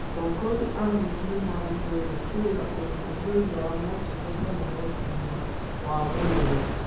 Atongoria a mũingĩ nĩmagĩrĩirwo gwĩkĩrĩra ũhũthĩri wa motungata ma ũgima wa mwĩrĩ